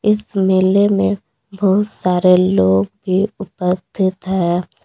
इस मेले में बहुत सारे लोग भी उपस्थित है।